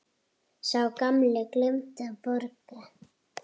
Sá gamli gleymdi að borga.